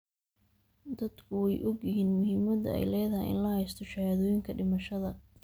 Dadku way ogyihiin muhiimadda ay leedahay in la haysto shahaadooyinka dhimashada.